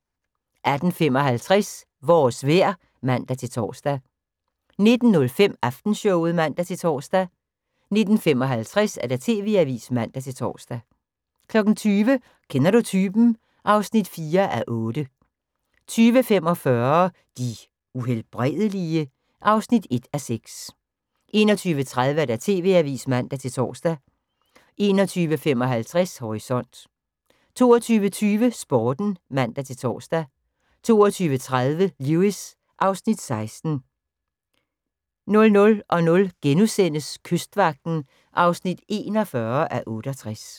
18:55: Vores vejr (man-tor) 19:05: Aftenshowet (man-tor) 19:55: TV-avisen (man-tor) 20:00: Kender du typen? (4:8) 20:45: De Uhelbredelige? (1:6) 21:30: TV-avisen (man-tor) 21:55: Horisont 22:20: Sporten (man-tor) 22:30: Lewis (Afs. 16) 00:00: Kystvagten (41:68)*